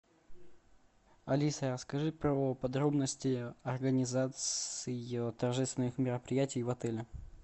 алиса расскажи про подробности организации торжественных мероприятий в отеле